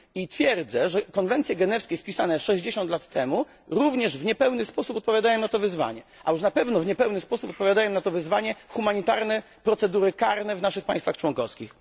Twierdzę, że konwencje genewskie spisane 60 lat temu również w niepełny sposób odpowiadają na to wyzwanie, a już na pewno w niepełny sposób odpowiadają na to wyzwanie humanitarne procedury karne w naszych państwach członkowskich.